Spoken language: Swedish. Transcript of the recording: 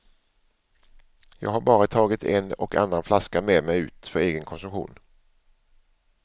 Jag har bara tagit en och annan flaska med mig ut för egen konsumtion.